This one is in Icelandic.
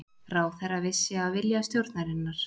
Ráðherra vissi af vilja stjórnarinnar